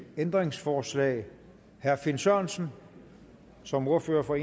ændringsforslag herre finn sørensen som ordfører for